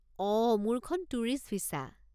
অঁ, মোৰখন tourist visa.